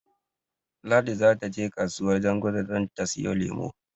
Ladi zata je kasuwar Janguza don ta siyo lemo.